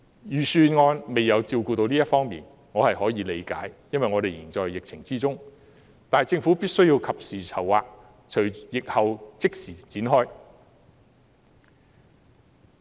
預算案並未照顧到這方面，我可以理解，因為我們尚在疫情之中，但政府必須及時籌劃，並在疫後即時行動。